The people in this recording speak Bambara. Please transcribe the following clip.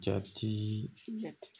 Jate